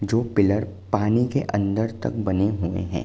जो पिलर पानी के अंदर तक बने हुए हैं।